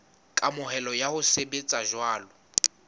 kamohelo ya ho sebetsa jwalo